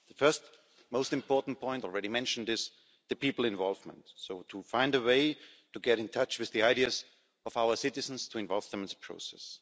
The first and most important point already mentioned is people's involvement. So, to find a way to get in touch with the ideas of our citizens to involve them in the process.